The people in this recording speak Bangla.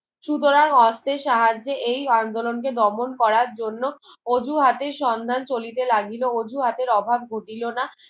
সুতরাং অস্ত্রের সাহায্যে এই আন্দোলন কে দমন করার জন্য অজুহাতে সন্ধান চলিতে লাগিলো অজুহাতের অভাব ঘটিল না